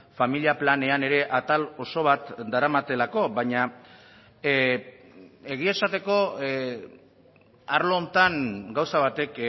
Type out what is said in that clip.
familia planean ere atal oso bat daramatelako baina egia esateko arlo honetan gauza batek